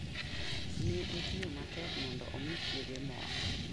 Ne otiyo matek mondo omi chiege morr.